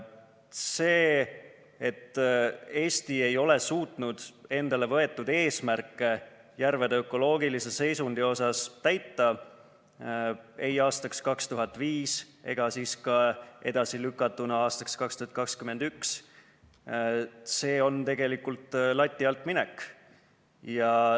See, et Eesti ei suutnud endale võetud eesmärke järvede ökoloogilise seisundi asjus täita ei aastaks 2015 ega ka edasilükatuna aastaks 2021, on tegelikult lati alt minek.